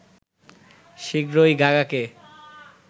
শীঘ্রই গাগাকে